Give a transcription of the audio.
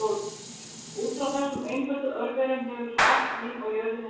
Út frá þessum einföldu örverum hefur svo allt líf á jörðinni þróast.